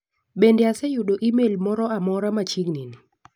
Bende aseyudo imel moro amora machiegni ni?